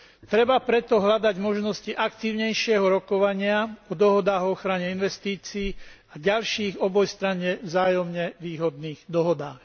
Treba preto hľadať možnosti aktívnejšieho rokovania v dohodách o ochrane investícií, v ďalších obojstranne vzájomne výhodných dohodách.